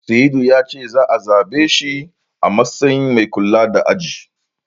Sa'idu ya ce za'a zabe shi a matsayin mai kula da aji.